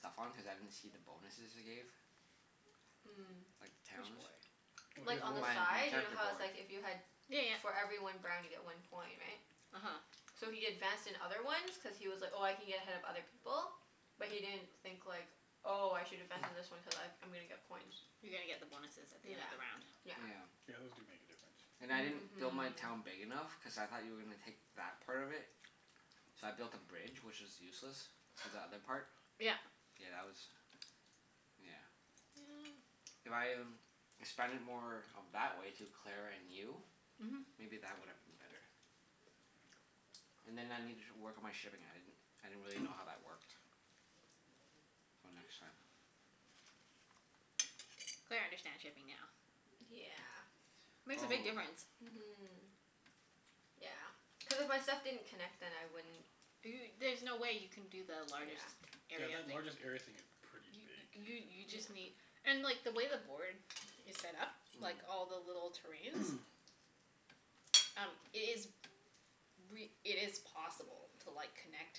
stuff on, cuz I didn't see the bonuses it gave. Mm. Like, Which towns. board? Like, on the My my side. You know character how it's board. like if you had Yeah yeah. for every one brown you get one coin, right? uh-huh. So he advanced in other ones cuz he was like, "Oh, I can get ahead of other people." But he didn't think, like "Oh, I should advance in this one cuz I I'm gonna get coins." You're gonna get the bonuses at the end of Yeah, the round. yeah. Yeah, those do make a difference. Yeah. And I didn't build my town big enough, cuz I thought you were gonna take that part of Mhm. it. So I built a bridge, which is useless. To the other part. Yeah. Yeah, that was, yeah. If I expanded more of that way to Claire and you Mhm. maybe that would have been better. And then I Yeah. needed to work on my shipping. I didn't I didn't really know how that worked. So, next time. Claire understands shipping now. D- yeah. Makes a Oh. big difference. Mhm. Yeah. Cuz if my stuff didn't connect then I wouldn't Do y- there's no way you can do the largest Yeah. Yeah, area that thing. largest area thing is pretty big. You you just Yeah. need and like, the way the board is set up like all the little terrains Um, it is Mm. re- it is possible to like, connect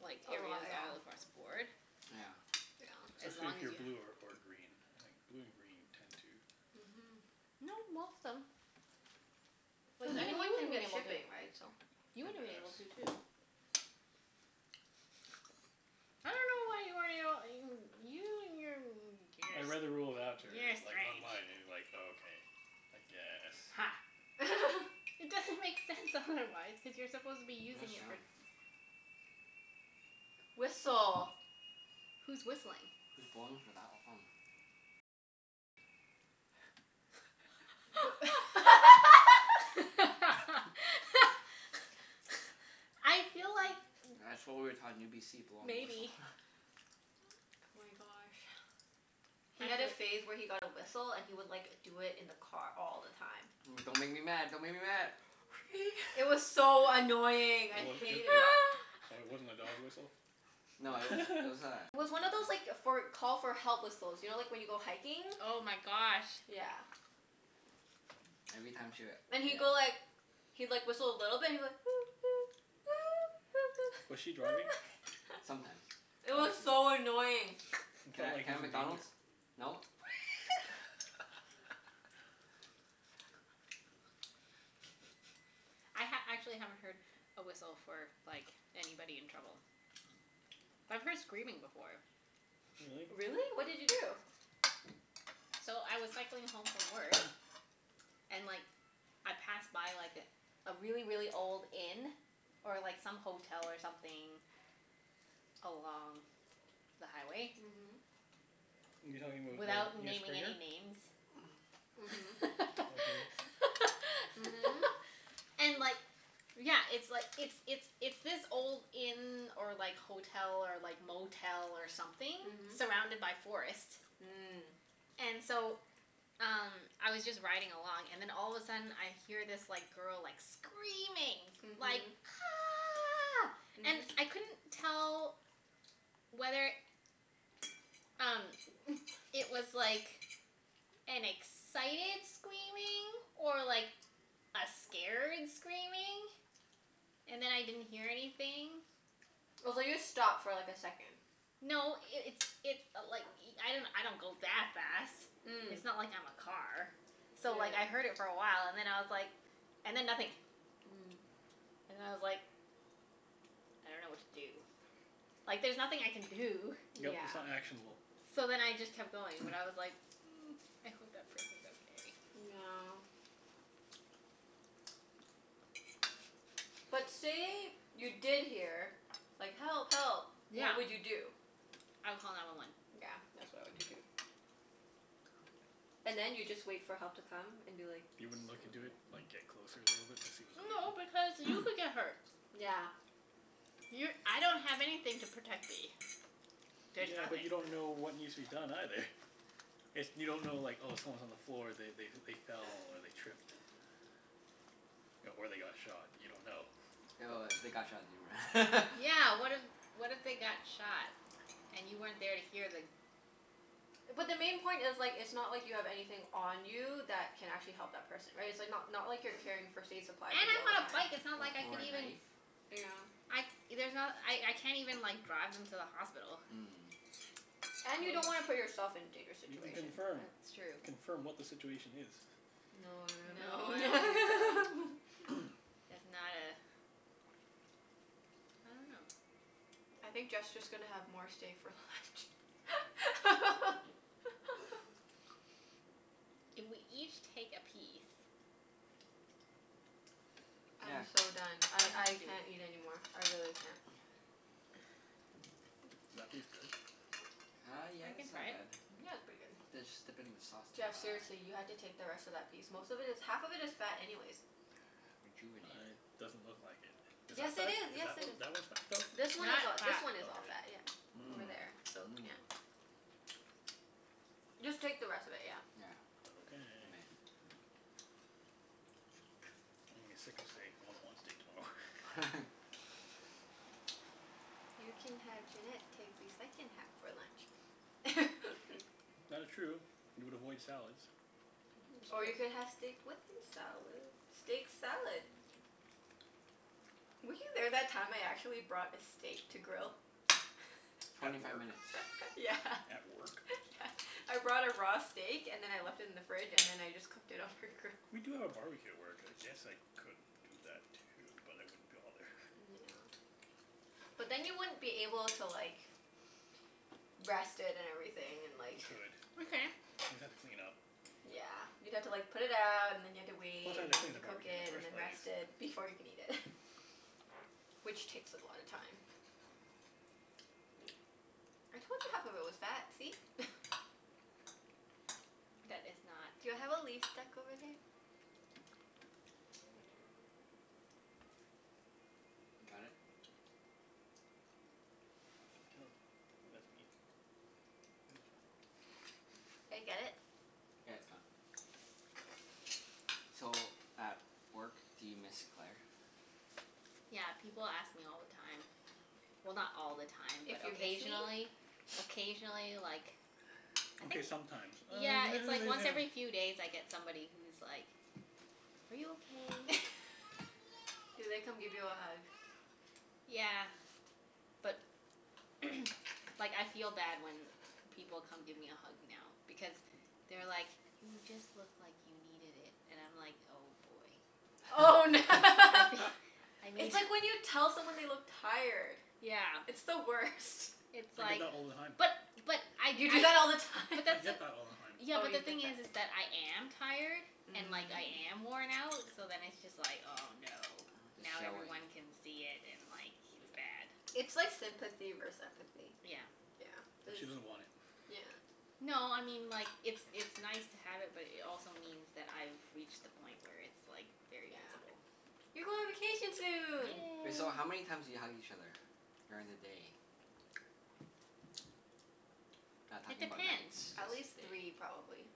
like, A lot, areas yeah. all Yeah. across the board. Yeah. As Especially long if as you're you blue ha- or or green, I think. Blue and green tend to Mhm. No, most them. Like, Cuz even you anyone can would've been get able to. shipping, right? So You tend would've to been able have to, too. I dunno why you weren't able you you and your n- I beginners. read You're a like strange. online, and like, okay. I guess. Ha. It doesn't make sense, otherwise. Cuz you're supposed to be What that using it for sound? Whistle. Who's whistling? Who's blowing for that long? I feel like That's what we were taught in UBC. Blowing the whistle. Maybe. Oh my gosh. He had a Actually phase where he got a whistle and he would like, do it in the car all the time. But don't make me mad. Don't make me mad. Wee! It was so annoying. It I w- w- hated w- it. oh, it wasn't a dog whistle? No, it was, it was It was one of a those like, for call for help whistles. You know, like when you go hiking? Oh my gosh. Yeah. Every time she w- And he'd go yeah. like he'd like, whistle a little bit. He'd be like Was she driving? Sometimes. It I was see. so annoying. He Can felt I can like I he have was in McDonald's? danger. No? I ha- actually haven't heard a whistle for like, anybody in trouble. But I've heard screaming before. Really? Really? What did you do? So, I was cycling home from work and like I passed by like a really, really old inn. Or like some hotel or something along the highway. Mhm. You talking about? Without naming any names. Mhm. Okay. And like Yeah, it's like, Mhm. it's it's it's this old inn or like hotel, or like motel, or something surrounded by forest. Mhm. And so, um Mm. I was just riding along and then all of a sudden I hear this like, girl like, screaming. Like Mhm. "Ah!" And I couldn't tell whether Mhm. um, it was like an excited screaming or like, a scared screaming. And then I didn't hear anything. I was like, just stop for like, a second. No, it it's it i- like i- I don't go that fast. Mm. It's not like I'm a car. So like, I heard it for a while and then I was like and then nothing. And I was like I don't know what to do. Like, there's nothing I can do. Yeah. Mm. Yep, Yeah. it's not actionable. So then I just kept going, but I was like mm, I hope that person's okay. Yeah. But say you did hear like, "Help! Help!" Yeah. What would you do? I would call nine one one. Yeah. That's what I would do, too. And then you just wait for help to come and be like You "It's wouldn't coming look into from there." it? Like, get closer a little bit to see what's going No, on? because you could get hurt. Yeah. You're, I don't have anything to protect me. There's Yeah, but you nothing. don't know what needs to be done, either. If you don't know like, oh someone's on the floor. They they they fell, or they tripped. Or they got shot. You don't know. But Yeah, what if what if they got shot? And you weren't there to hear the But the main point is like, it's not like you have anything on you that can actually help that person. Right? It's like not not like you're carrying first aid supplies And with you all I'm the on a bike. time. It's not like I O- or could a even knife. Yeah. I, there's not, I I can't even like, drive them to the hospital. Mm. And you Wha- don't wanna wha- put yourself in dangerous You can situation. That's Yeah. confirm. true. Confirm what the situation is. No no no No, I don't think so. no. That's not a I dunno. I think Jeff's just gonna have more stay for left. If we each take a piece I'm Yeah. so done. See I if you I can do it. can't eat anymore. I really can't. Is that piece good? Uh, yeah, I can it's try not it. bad. Yeah, it's pretty Just dip it in the good. sauce to uh Jeff, seriously, you have to take the rest of that piece. Most of it is, half of it is fat anyways. rejuvenate I, doesn't look like it. it. Is Yes, that it fat? is. Is Yes, that it one, is. that one's fat, though? This one is That a- this fat. one is all fat, Okay. yeah. Over there, Hmm. so yeah. Mmm. Mmm. Just take the rest of it, yeah. Yeah. Okay. You may. I'm gonna be sick of steak. I won't want steak tomorrow. You can have Junette take the second half for lunch. That is true. You would avoid salads. It's Or you could true. have steak with your salad? Steak salad. Were you there that time I actually brought a steak to grill? At Twenty five work? minutes. Yeah. At work? Yeah. I brought a raw steak and then I left it in the fridge, and then I just cooked it on her grill. We do have a barbecue at work. I guess I could do that too, but I wouldn't be all there. Yeah. But then you wouldn't be able to like rest it and everything, and like You could. We can. You'd have to clean up. Yeah. You'd have to like put it out, and then you'd have to Plus wait, I'd have and to then you'd clean have the to cook barbecue it, in the and first then place. rest it before you can eat it. Which takes a lot of time. I told you half of it was fat, see? That is not Do I have a leaf stuck over there? Right here. Can't tell, I think that's meat. It was fine. Did I get Got it? it? Yeah, it's gone. So, at work do you miss Claire? Yeah, people ask me all the time. Well, not all the time, but If you miss me? occasionally. Occasionally, like I Okay, think sometimes. Yeah, Uh it's like once every few days I get somebody who's like "Are you okay?" Do they come give you a hug? Yeah. But like, I feel bad when people come give me a hug now. Because they're like "You just look like you needed it." And I'm like, oh boy. Oh I fee- I It's need like when you tell someone they look tired. Yeah. It's the worst. It's I get like that all the time. But but I You do usually that all the time? but I that's the get that all the time. Yeah, Oh, but you the get thing is is that. that I am tired. And like, I Mm. am worn out. So then it's just like, oh no. It's Now showing. everyone can see it, and like it's bad. It's like sympathy vers- empathy. Yeah. Yeah, And this she doesn't want it. Yeah. No, I mean like It's it's nice to have it, but it also means that I've reached the point where it's like, very Yeah. visible. You go on vacation soon! Wait, so Yay. how many times do you hug each other? During the day. Not It talking about nights. depends. Just At day. least three, Three? probably.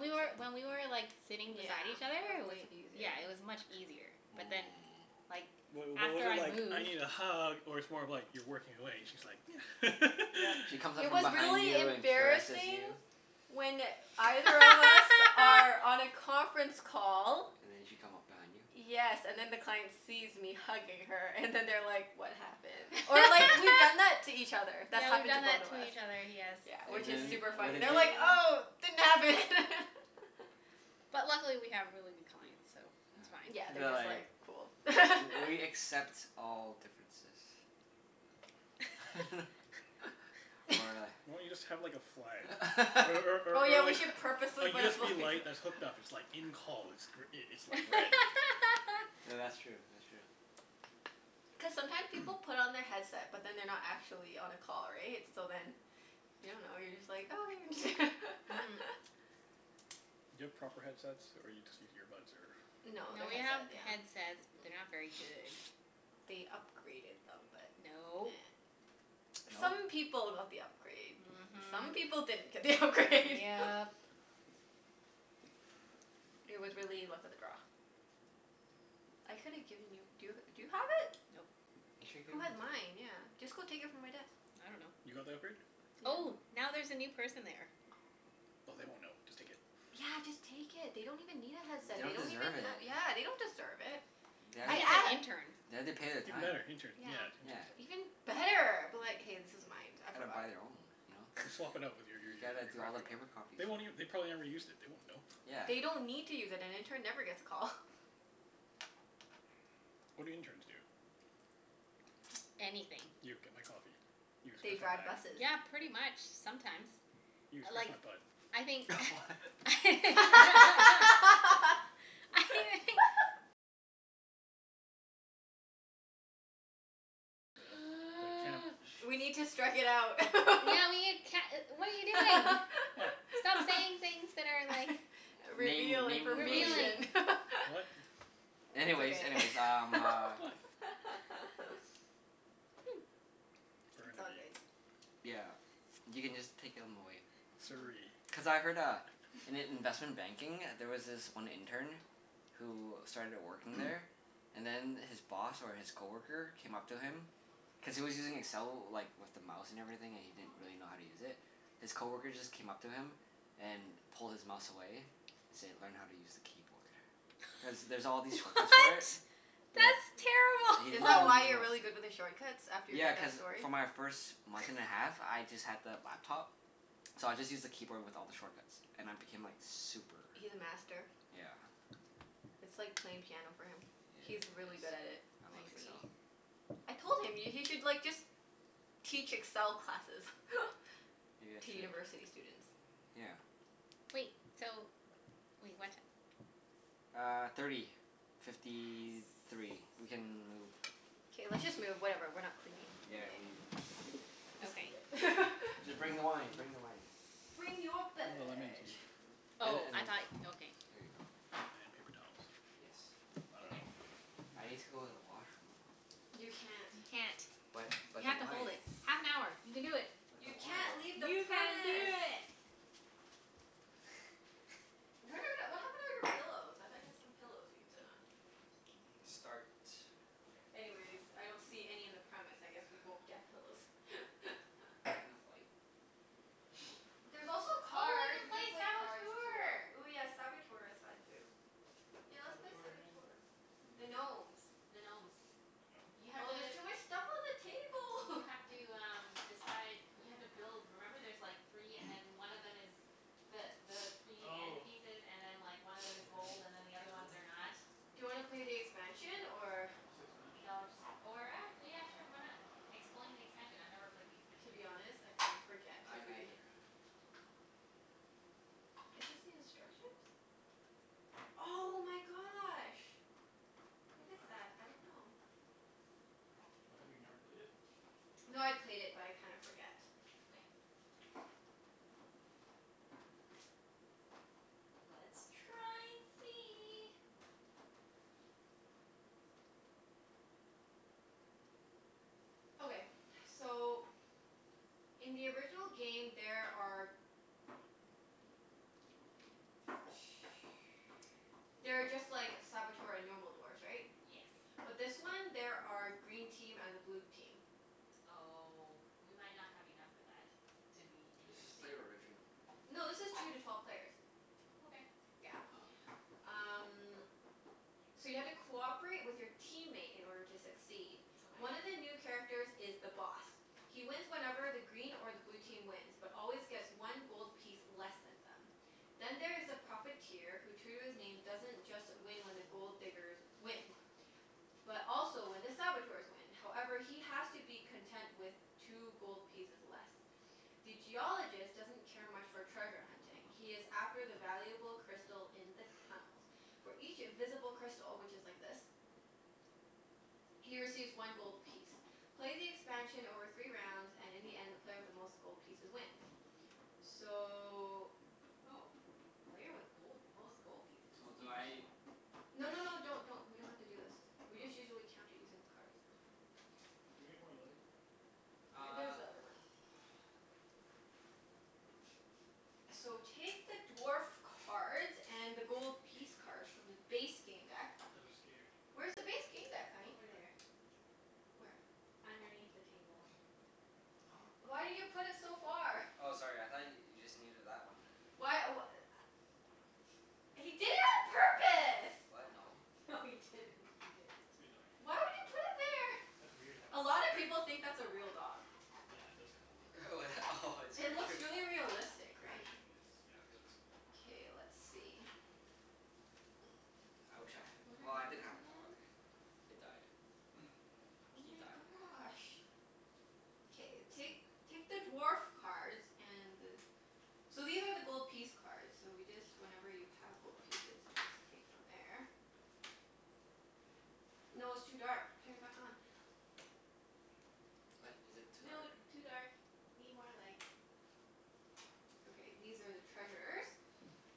I'd we were, say. when we were like, sitting Yeah. beside each other, It was it was way yeah, easier. it was much easier. But then, Mm. like Wait, what was after it I like, "I moved need a hug?" Or it's more of like you're working away and she's like Yep. She comes up It from was behind really you and caresses embarrassing you. when either of us are on a conference call And then she'd come up behind you? Yes, and then the client sees me hugging her, and then they're like "What happened?" Or like, we've done that to each other. That's Yeah, we've happened to done both that of to us. each other. Yes. Yeah, which And is then super what funny. did They're you like, "Oh, didn't happen!" But luckily we have really good clients, so it's Yeah, Yeah, fine. they're they're just like, like, "Cool." "W- we accept all differences." Or Why don't you just a have like a flag? Or or Oh, or yeah, or we like should A purposefully put a fla- USB light that's hooked up. It's like, "In call." It's gr- i- it's like red. Th- that's true, that's true. Cuz sometime people put on their headset but then they're not actually on a call, right? So then you don't know, you're just like, "Oh, there it is." Mhm. Do you have proper headsets, or you just use earbuds, or No, No, they're we have headset, yeah. headsets but they're not very good. They upgraded them but, nah. No. No? Some people got the upgrade. Some Mhm. people didn't get the upgrade. Yep. It was really luck of the draw. I coulda given you, do y- do you have it? Nope. You should've Who given had it to her. mine? Yeah. Just go take it from my desk. I dunno. You got the upgrade? Oh, Yeah. now there's a new person there. Oh. Oh, they won't know. Just take it. Yeah, just take it. They don't even need a headset. They Don't don't even deserve have it. Yeah, they don't deserve it. They I have I to think it's an a- pa- intern. they have to pay their Even time. better. Intern. Yeah. Yeah, Yeah. interns Even don't better. Be like, "Hey, this is mine. I Gotta forgot buy it." their own, you know? Just swap it out with your You your your gotta your do all the crappy one. paper copies They for won't it. ev- they probably never used it. They won't know. Yeah. They don't need to use it. An intern never gets a call. What do interns do? Anything. You, get my coffee. You, They scratch my drive back. buses. Yeah, pretty much. Sometimes. You, I scratch like my butt. I think What? I The the camp We need to strike it out. Yeah we can't e- what are you doing? What? Stop saying things that are like Name Reveal naming revealing. information. What? It's Anyways, okay. anyways, um uh What? It's all Burnaby. good. Yeah. You can just take 'em away. Mhm. Surrey. Cuz I heard uh, in i- investment banking there was this one intern who started working there and then his boss or his coworker came up to him cuz he was using Excel like, with the mouse and everything, and he didn't really know how to use it. His coworker just came up to him and pulled his mouse away and said, "Learn how to use the keyboard." Cuz there's all these shortcuts for it. What? Yeah. That's He did Is it that all terrible. with why a you're mouse. really good with the shortcuts? After you Yeah, heard cuz that story? for my first month and a half, I just had the laptop. So I just used the keyboard with all the shortcuts. And I became like super He's a master. Yeah. It's like playing piano for him. Yeah, it He's really good at is. it. I I It's love see. crazy. Excel. I told him, y- he should like just teach Excel classes. Maybe I To should. university students. Yeah. Wait, so Wait, what ti- Uh, thirty fifty three. We Yes. can move. K, let's just move. Whatever, we're not cleaning Yeah, today. leave this sh- Just leave Okay. it. Just bring the wine. Mhm. Bring the wine. Bring your Bring the lemon beverage. tea. And Oh, and I then thought, okay. Here you go. And paper towels. Yes. I Okay. Okay. dunno. I need to go to the washroom though. You can't. You can't. But You but the have to hold wine. it. Half an hour. You can do it. But the You can't wine. leave the You can do premise. it. Where the w- d- what happened to all your pillows? I thought you had some pillows we could sit on? Mm, start. Okay. Anyways, I don't see any in the premise. I guess we won't get pillows. There enough light? Nope. There's also Oh, we cards. can We play could play cards, tour Saboteur! Ooh yeah, Saboteur is fun too. Yeah, What's let's play Saboteur again? Saboteur. Don't The remember it. gnomes. The gnomes. The You gnomes? have Oh, there's to too much stuff on the You table. have to um, decide You have to build, remember there's like three and then one of them is the the three end Oh. pieces and then like, one of them Okay. is gold and then the other ones Sure. are not. Do you wanna play the expansion, or What's the expansion? No, just or ac- yeah sure, why not? Explain the expansion. I've never played the To expansion. be honest, I kinda forget I cuz we neither. Is this the instructions? Oh my gosh. What What's is that? that? I don't know. Oh, have you never played it? No, I played it but I kinda forget. Okay. Let's try and see. Okay. So in the original game there are there are just like Saboteur and normal dwarfs, right? Yes. But this one there are green team and a blue team. Oh, we might not have enough for that. To be Let's just interesting. play original. No, this is two to twelve players. Okay. Yeah. Oh. Um So you have to cooperate with your teammate in order to succeed. Okay. One of the new characters is The Boss. He wins whenever the green or the blue team wins but always gets one gold piece less than them. Then there is The Profiteer who, true to his name, doesn't just win when the Gold Diggers win. But also when the Saboteurs win. However, he has to be content with two gold pieces less. The Geologist doesn't care much for treasure hunting. He is after the valuable crystal in the tunnels. For each visible crystal, which is like this. He receives one gold piece. Play the expansion over three rounds, and in the end the player with the most gold pieces wins. So Oh. Player with gold, most gold pieces? So do I Interesting. No push no no, don't don't. We don't have to do this. We just Oh. usually count it using the cards. Okay. Oh, can we get more light? There's Uh the other one. So, take the dwarf cards and the gold piece cards from the base game deck. I was scared. Where's the base game deck, honey? Over there. Where? Underneath the table. Oh, Why crap. did you put it so far? Oh, sorry. I thought y- you just needed that one. Why w- a- He did it on purpose! What? No. No, he didn't. He didn't. Good doggie. Why would you put it there? That's weird to have a A dog lot of there. people think that's a real dog. Yeah, it does kinda look Oh, that? Oh, it It scared looks you. really realistic, right? Position is, yeah, realistic. K, let's see. I wish I had a, What well, are I these did have a dog. again? It died. Oh He my died. gosh. K, I see. take take the dwarf cards and the So these are the gold piece cards, so we just, whenever you have gold pieces you just take from there. No, it's too dark. Turn it back on. What? Is it too dark? No, too dark. Need more light. Okay, these are the treasures.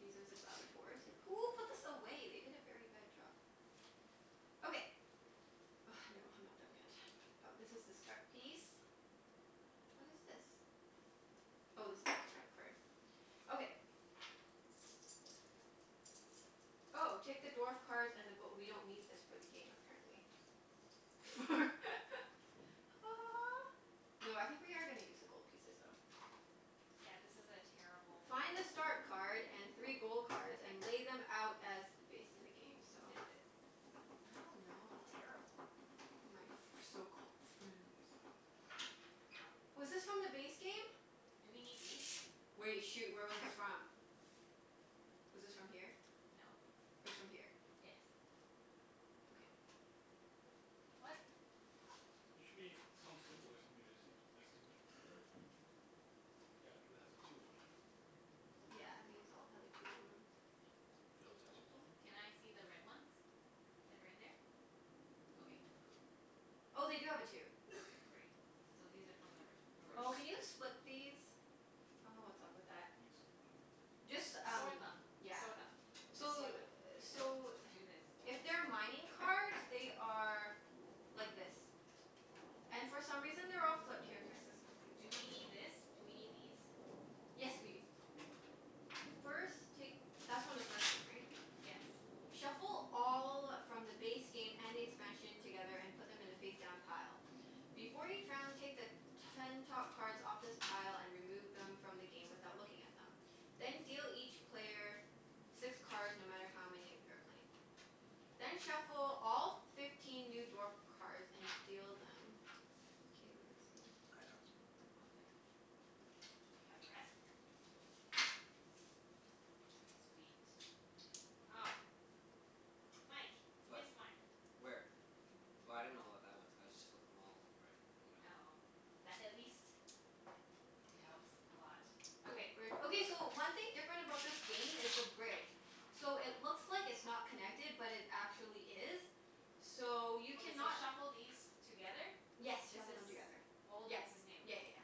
These are ze Saboteurs. Who put this away? They did a very bad job. Okay. Oh, no, I'm not done yet. Oh, this is the start piece. What is this? Oh, this is character card. Okay. Oh, take the dwarf cards and the go- we don't need this for the game, apparently. For Ha ha ha. No, I think we are gonna use the gold pieces though. Yeah, this is a terrible Find a start card and three gold cards and lay them out as based in the game. Who So who did this? I don't know, I Terrible. My f- my so-called friends. Okay. Was this from the base game? Do we need these? Wait. Shoot, where was this from? Was this from here? No. It was from here. Yes. Okay. What? There should be some symbol or something to distinguish distinguish between them. Yeah, like that has a two on it. Yeah, these all have a two on them. Do those Those have don't? twos on them? Can I see the red ones? That are in there? Okay. No, go. Oh, they do have a two. Okay, great. So these are from the re- Oh, original. can you First. split these? I dunno what's up with that. What do you mean, split them? Just S- um, sort them. yeah. Sort Oh. them. Just So sort them. No, so do this. If they're mining cards, they are like this. And Oh. for some reason they're all flipped. Here, fix this one too. Do we need this? Do we need these? Yes, we do. First, take That's from the first game, right? Yes. Shuffle all from the base game and the expansion together, and put them in a face-down pile. Before each round, take the ten top cards off this pile and remove them from the game without looking at them. Then deal each player six cards, no matter how many of you are playing. Then shuffle all f- fifteen new dwarf cards and deal them. K, let me see. I got them. Okay. Do you have the rest? Sweet. Ah. Mike. You What? missed one. Where? Oh, I didn't know what that was. I just flipped them all in the right, you know? Oh. That at least it Yeah. helps a lot. Ooh, Yeah, Okay. bridge. don't worry Okay, so about it. one thing different about this game is the bridge. So, it looks like it's not connected but it actually is. So, you Okay, so cannot shuffle these together? Yes, This shuffle them is together. old Yep. and this is Yeah new. yeah yeah.